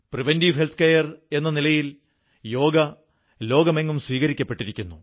പ്രതിരോധ ആരോഗ്യ പരിരക്ഷ എന്ന നിലയിൽ യോഗ ലോകമെങ്ങും സ്വീകരിക്കപ്പെട്ടിരിക്കുന്നു